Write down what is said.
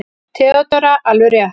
THEODÓRA: Alveg rétt!